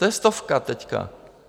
To je stovka teď.